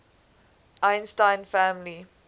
einstein family